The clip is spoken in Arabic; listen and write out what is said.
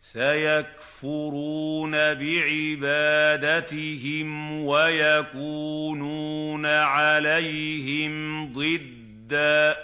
سَيَكْفُرُونَ بِعِبَادَتِهِمْ وَيَكُونُونَ عَلَيْهِمْ ضِدًّا